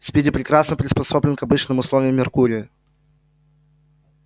спиди прекрасно приспособлен к обычным условиям меркурия